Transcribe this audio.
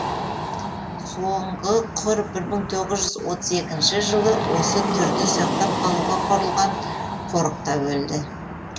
соңғы құр бір мың тоғыз жүз отыз екінші жылы осы түрді сақтап қалуға құрылған қорықта өлді